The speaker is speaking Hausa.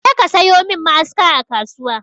Je ka sayo min ma'aska a kasuwa!